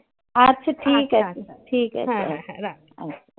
আচ্ছা ঠিক আছে. আচ্ছা. ঠিক আছে. হ্যা হ্যা. রাখছি